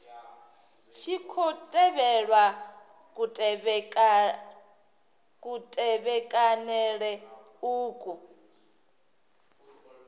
tshi khou tevhelwa kutevhekanele uku